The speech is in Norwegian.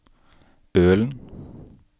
Ølen